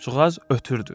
Quşçuğaz ötürdü.